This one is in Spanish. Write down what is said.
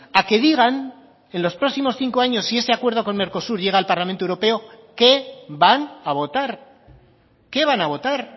a que digan en los próximos cinco años si ese acuerdo con mercosur llega al parlamento europeo qué van a votar qué van a votar